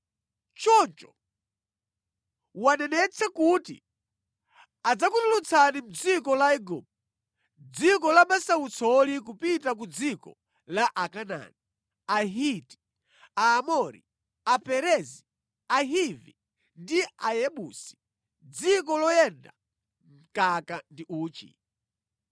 Choncho wanenetsa kuti adzakutulutsani mʼdziko la Igupto, dziko la masautsoli kupita ku dziko la Akanaani, Ahiti, Aamori Aperezi, Ahivi ndi Ayebusi, dziko loyenda mkaka ndi uchi.’